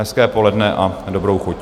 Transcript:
Hezké poledne a dobrou chuť.